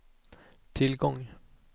tillgång